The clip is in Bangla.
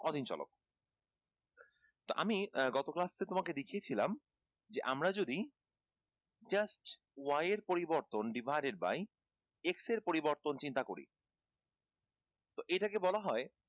অধীন চলক তো আমি গত class এ তোমাকে দেখিয়েছিলাম যে আমরা যদি just y এর পরবর্তন divided by x এর পরিবর্তন চিন্তা করি তো এটাকে বলা হয়